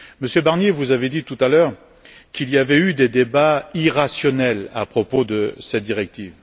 Monsieur Barnier, vous avez dit tout à l'heure qu'il y avait eu des débats irrationnels à propos de cette directive.